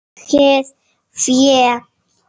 Eigið fé